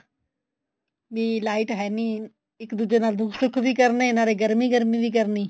ਵੀ light ਹੈ ਨੀ ਇੱਕ ਦੂਜੇ ਨਾਲ ਦੁੱਖ ਸੁੱਖ ਵੀ ਕਰਨੇ ਨਾਲੇ ਗਰਮੀ ਗਰਮੀ ਵੀ ਕਰਨੀ